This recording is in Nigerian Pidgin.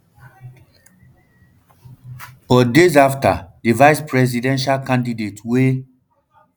but days afta um di vice presidential candidate wey